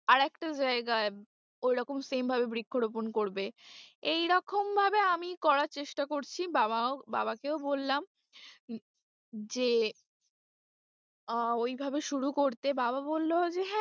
আর একটা জায়গায় ঐরকম same ভাবে বৃক্ষরোপন করবে, এইরকম ভাবে আমি করার চেষ্টা করছি বাবাকেও বললাম যে আহ ঐভাবে শুরু করতে বাবা বললো যে,